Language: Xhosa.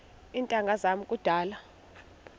iintanga zam kudala